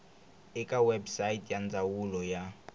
eka website ya ndzawulo ya